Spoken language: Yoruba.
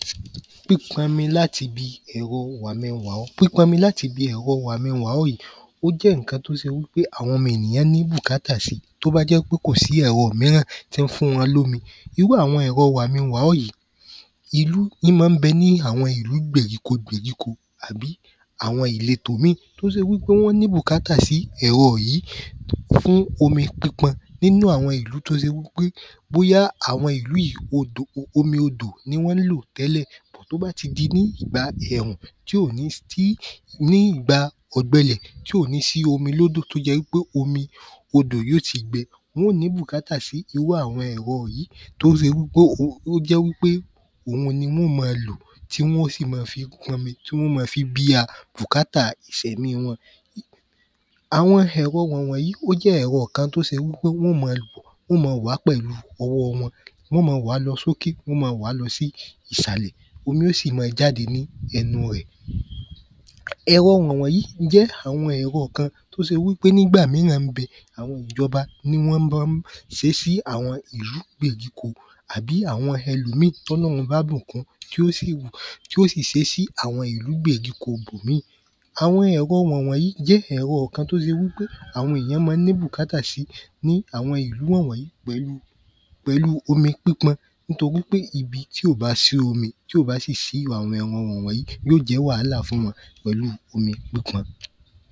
Pípọ'mi láti 'bi ẹ̀rọ wàmi-n-wa-ọ Pípọ'mi láti 'bi ẹ̀rọ wàmi-n-wa-ọ yìí o jẹ́ ǹkan tó se wí pé àwọn ọmo ènìyàn ní bùkátà sí tó bá jẹ́ wí pé kò sí ẹ̀rọ míràn tí ń fún wọn lómi. Irú àwọn ẹ̀rọ wàmi-n-wa-ọ yìí ín má ń bẹ ní àwọn ìlú gbèyíko gbèyíko àbí àwọn ìletò yí í tó se wí pé wọ́n ní bùkátà sí ẹ̀rọ yìí fún omi pípọn nínú àwọn ìlú tó se wí pé bóyá àwọn ìlú yìí omi odò ni wọ́n ń lò tẹ́lẹ̀. Tó bá ti di ní ìgba ẹ̀rùn, ní ìgba ọ̀gbẹlẹ̀ tí ò ní sí omi l’ódò tó jẹ́ wí pé omi odò yó ti gbẹ. Wọ́n ó ní bùkátà sí irú àwọn ẹ̀rọ yìí to se wí pé ó jẹ́ wí pé òun ni wọ́n ó ma lò tí wọ́n ó sì ma fi pọ’mi tí wọ́n ó ma fi bíá bùkátà ìsẹ̀mí wọn Àwọn ẹ̀rọ wọ̀n wọ̀n yí ó jẹ́ ẹ̀rọ kan tó ṣe wí pé wọ́n ó ma wọ́n ó ma wàá pẹ̀lú ọwọ́ wọn. Wọ́n ó ma wàá lọ s’óke. Wọ́n ó ma wàá lọ sí ìsàlẹ̀. Omi ó sì ma jáde ní ẹnu ẹ̀. Ẹ̀rọ wọ̀n wọ̀n yí jẹ́ àwọn ẹ̀rọ kan tó se wí pé ní’gbà míràn ń bẹ àwọn ìjọba ni wọ́n má ń ṣé sí ìlú gbèyíko. Àbí àwọn ẹlọ̀míì t’Ọlọ́hun ọbá bùkun tí ó sì sé sí ìlú gbèríko ‘bòmíì. Àwọn ẹ̀rọ wọ̀n wọ̀n yí ó jẹ́ ẹ̀rọ kan tó ṣe wí pé àwọn èyàn má ń ní bùkátà sí ní àwọn ìlú wọ̀n wọ̀n yí pẹ̀lú omi pípọn nítorí pé ibi tí ò bá sí omi tí ò bá sì sí àwọn ẹ̀rọ wọ̀n wọ̀n yí ó jẹ́ wàhálà fún wọn pẹ̀lúu omi pípọn.